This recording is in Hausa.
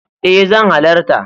E zan halarta.